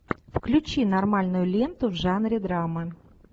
включи нормальную ленту в жанре драмы